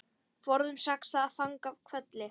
Forðum saxað fang í hvelli.